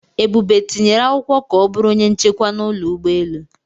Ebube tinyere akwụkwọ ka ọ bụrụ onye nchekwa n'ụlọ ụgbọelu.